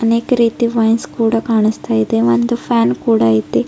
ಅನೇಕ್ ರೀತಿ ವೈನ್ಸ್ ಕೂಡ ಕಾಣಸ್ತಾ ಇದೆ ಒಂದ್ ಫ್ಯಾನ್ ಕೂಡ ಇದೆ.